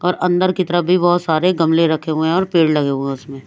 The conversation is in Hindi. और अंदर की तरह भी बहोत सारे गमले रखे हुए है और पेड़ लगे हुए है उसमें--